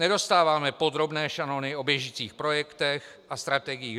Nedostáváme podrobné šanony o běžících projektech a strategiích.